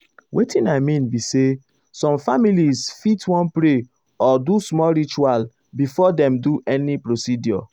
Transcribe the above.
wetin i mean be say some families fit wan pray or do small ritual before dem do any procedure.